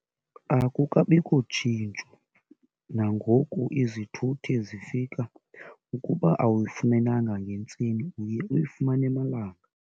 Akukabikho tshintsho, nangoku izithuthi zifika, ukuba awuyifumenanga ngentseni uye uyifumane emalanga.